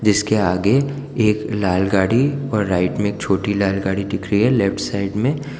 जिसके आगे एक लाल गाड़ी और राइट में एक छोटी लाल गाड़ी दिख रही है लेफ्ट साइड में--